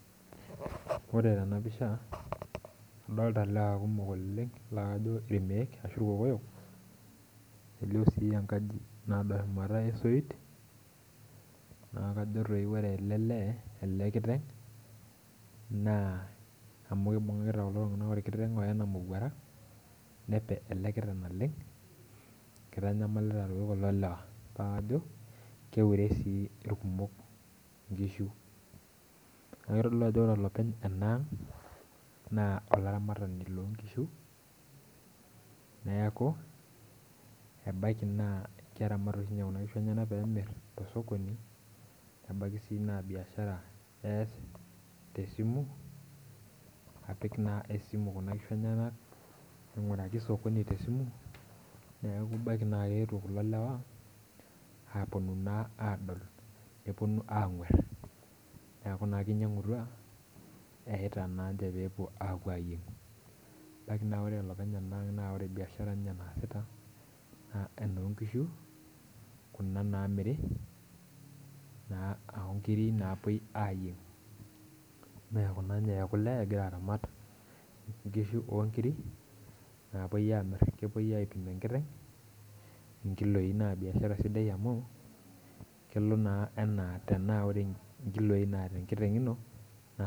Ore tena pisha adolta ilewa kumok oleng laa kajo irmeek ashu irkokoyok elio sii enkaji nado shumata esoit naa kajo toi ore ele lee ele kiteng naa amu kibung'akita kulo tung'anak orkiteng oyena imowuarak nepe ele kiteng naleng kitanyamalita toi kulo lewa naa kajo keure sii irkumok inkishu niaku kitodolu ajo ore olopeny ena ang naa olaramatani lonkishu neeku ebaiki naa keramat oshi ninye kuna kishu enyenak peemirr tosokoni nebaki sii naa biashara ees tesimu apik naa esimu kuna kishu enyenak aing'uraki sokoni tesimu neeku ebaiki naa keetuo kulo lewa aponu naa aadol neponu ang'uerr neeku naa kinyiang'utua eyaita nanche peepuo apuo ayieng ebaki naa ore olopeny ena ang naa ore biashara ninye naasita naa enonkishu kuna namiri naa onkiri naapuoi ayieng mee kune inye ekule egira aramat inkishu onkiri naapuoi amirr kepuoi aipim enkiteng inkiloi naa biashara sidai amu kelo naa anaa tenaa ore inkiloi naata enkiteng ino naa.